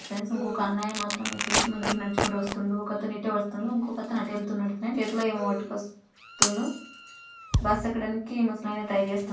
friends ఇంకొక అన్నయ్య మాత్రమే ఇట్ల ముందరకి నడుచుకుంటూ వస్తుండు ఒక అతను ఇటు వస్తుండు ఇంకొక అతను అటు ఎల్తున్నాడు ఫ్రెండ్స్ చేతిలో ఏమో పట్టుకొస్తుండు బస్ ఎక్కడనీకి ముసలాయన ట్రై చేస్తున్నాడు ఫ్ఫ్రెండ్స్--